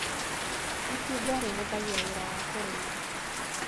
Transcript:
Itinga rĩhũthagia wĩra wa kũrĩma.